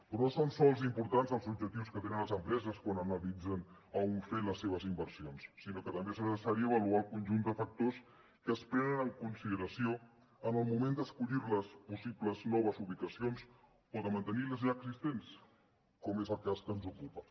però no són sols importants els objectius que tenen les empreses quan analitzen a on fer les seves inversions sinó que també és necessari avaluar el conjunt de factors que es prenen en consideració en el moment d’escollir les possibles noves ubicacions o de mantenir les ja existents com és el cas que ens ocupa